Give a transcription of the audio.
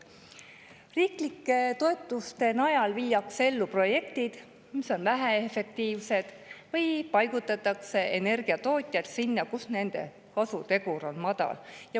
" Riiklike toetuste najal viiakse ellu projektid, mis on väheefektiivsed, või paigutatakse energiatootmise sinna, kus nende kasutegur on madal.